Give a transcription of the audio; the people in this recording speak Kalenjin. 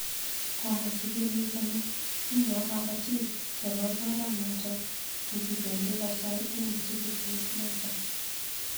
Komwa chikilik kole, uyo kabatik chebo koranotok ko kibeendi kosae eng msikitiit notok